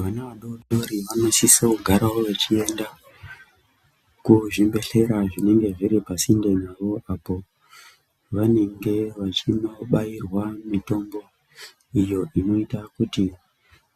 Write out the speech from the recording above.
Vana vadoridori vanosisa kugara vechienda kuzvibhehlera zvinenge zviri pasinde navo vanenge veindobairea mitombo iyi inoita kuti